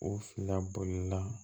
O fila bolila